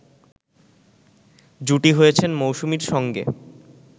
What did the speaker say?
জুটি হয়েছেন মৌসুমীর সঙ্গে